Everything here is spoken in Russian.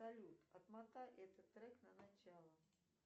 салют отмотай этот трек на начало